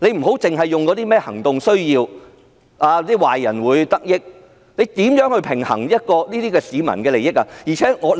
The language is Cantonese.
局長不要以行動需要、壞人會得益來開脫，他們怎樣去平衡市民的利益？